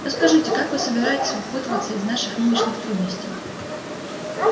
но скажите как вы собираетесь выпутываться из наших нынешних трудностей